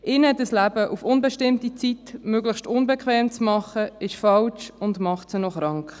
Ihnen das Leben auf unbestimmte Zeit möglichst unbequem zu machen, ist falsch und macht sie zudem krank.